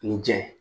Ni jɛn ye